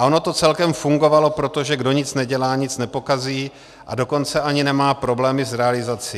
A ono to celkem fungovalo, protože kdo nic nedělá, nic nepokazí, a dokonce ani nemá problémy s realizací.